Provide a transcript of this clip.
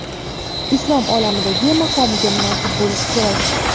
islom olamidagi maqomiga munosib bo‘lishi kerak.